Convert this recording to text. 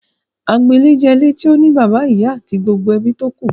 Agbo ilé jẹ́ ilé tí ó ní bàbá, ìyá àti gbogbo ebí tókù.